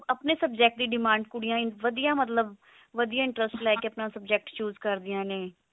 ਆਪਣੇ subject ਦੀ demand ਕੁੜੀਆਂ ਵਧੀਆ ਮਤਲਬ ਵਧੀਆ subject choose ਕਰਦੀਆਂ ਨੇ